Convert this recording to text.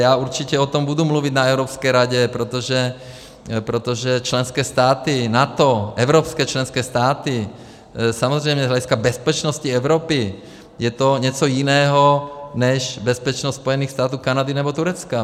Já určitě o tom budu mluvit na Evropské radě, protože členské státy NATO, evropské členské státy samozřejmě z hlediska bezpečnosti Evropy je to něco jiného než bezpečnost Spojených států, Kanady nebo Turecka.